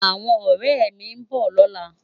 Áwòn òrè mi n bò lòlá